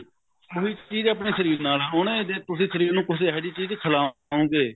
ਹਰ ਇੱਕ ਚੀਜ ਆਪਣੇ ਸ਼ਰੀਰ ਨਾਲ ਐ ਹੁਣ ਉਹਨੇ ਜੇ ਤੁਸੀਂ ਸ਼ਰੀਰ ਨੂੰ ਕੁੱਛ ਇਹੋ ਜਿਹੀ ਚੀਜ ਖਿਲਾਓਗੇ